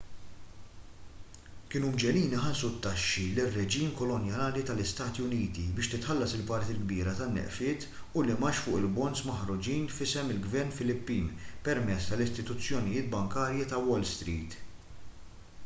kienu mġegħlin iħallsu t-taxxi lir-reġim kolonjali tal-istati uniti biex titħallas il-parti l-kbira tan-nefqiet u l-imgħax fuq il-bonds maħruġin f'isem il-ġvern filippin permezz tal-istituzzjonijiet bankarji ta' wall street